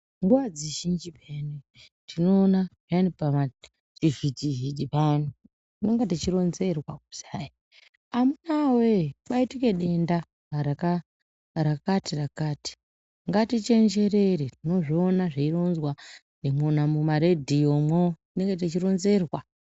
Nguwa dzizhinji tinoona vari pavantu chivhiti vhiti payani chinenge chichinronzerwa kusau amuna we kwaitika denda rakati rakati ngatichenjerere voona zveiromzwaumaredhiyo tinoona zveiromzwa.